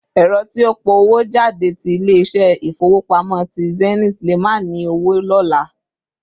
Èrò tí ó pọ̀ owó jáde ti ilé ìṣe ifowopamọ tí Zenith lè má ni owo lóla